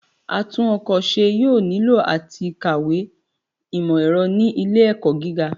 Atún-ọ̀kọ̀ ṣe yoo nilo lati kawe imọ-ẹrọ ni ile-ẹkọ gíga